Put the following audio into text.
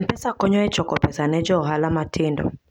M-Pesa konyo e choko pesa ne jo ohala matindo.